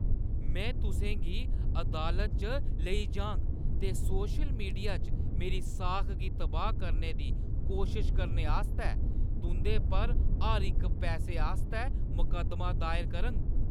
में तुसें गी अदालत च लेई जाङ ते सोशल मीडिया च मेरी साख गी तबाह् करने दी कोशश करने आस्तै तुंʼदे पर हर इक पैसे आस्तै मकद्दमा दायर करङ।